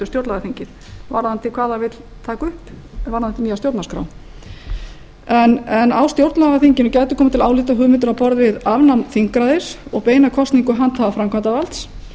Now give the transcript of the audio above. stjórnlagaþingið varðandi hvað það vill taka upp varðandi nýja stjórnarskrá en á stjórnlagaþinginu gætu komið til álita hugmyndir á borð við afnám þingræðis og beina kosningu handhafa framkvæmdarvalds